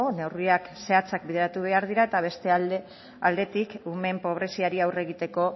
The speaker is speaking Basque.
neurriak zehatzak bideratu behar dira eta beste aldetik umeen pobreziari aurre egiteko